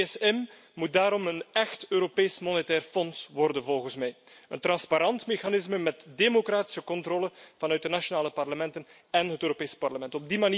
Het ESM moet daarom een echt Europees monetair fonds worden volgens mij, een transparant mechanisme met democratische controle vanuit de nationale parlementen en het Europees Parlement.